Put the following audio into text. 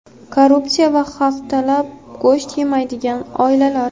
korrupsiya va haftalab go‘sht yemaydigan oilalar.